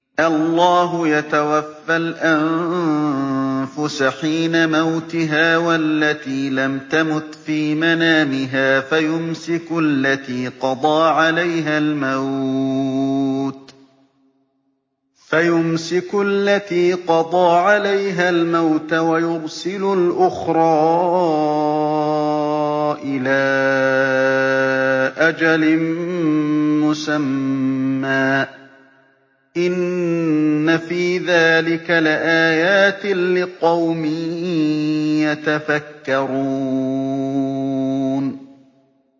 اللَّهُ يَتَوَفَّى الْأَنفُسَ حِينَ مَوْتِهَا وَالَّتِي لَمْ تَمُتْ فِي مَنَامِهَا ۖ فَيُمْسِكُ الَّتِي قَضَىٰ عَلَيْهَا الْمَوْتَ وَيُرْسِلُ الْأُخْرَىٰ إِلَىٰ أَجَلٍ مُّسَمًّى ۚ إِنَّ فِي ذَٰلِكَ لَآيَاتٍ لِّقَوْمٍ يَتَفَكَّرُونَ